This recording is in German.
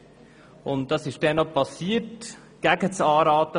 Das wurde gegen den Rat der FIN gemacht.